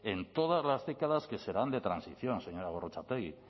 en todas las décadas que serán de transición señora gorrotxategi